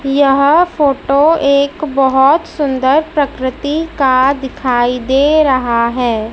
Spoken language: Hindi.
यह फोटो एक बहोत सुंदर प्रकृति का दिखाइ दे रहा है।